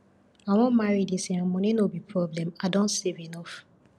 i wan marry dis year and money no go be problem i don save enough